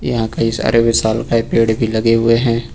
यहां पर कई सारे विशालकाय पेड़ लगे हुए हैं।